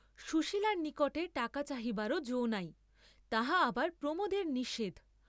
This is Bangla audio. সুশীলার নিকটেও টাকা চাহিবার যো নাই, তাহা আবার প্রমোদের নিষেধ।